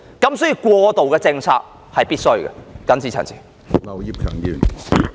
因此，過渡政策是必須的。